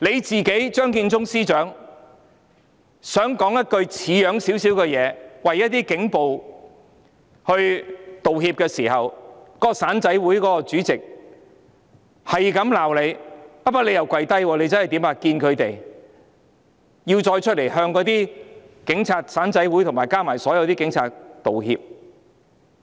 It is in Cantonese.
在張建宗司長想說一句像樣的說話，為警暴道歉時，那個"散仔會"的主席不停地罵司長，不過司長又真的"跪低"，前去與他們會面，並再露面向警務處、"散仔會"和所有警察道歉。